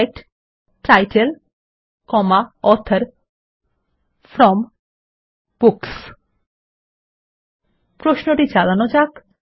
select title author from books প্রশ্নটি চালানো যাক